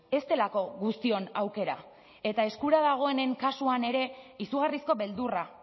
ez delako guztion aukera eta eskura dagoenen kasuan ere izugarrizko beldurra